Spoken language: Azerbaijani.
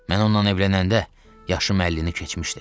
Mən ondan evlənəndə yaşım əllini keçmişdi.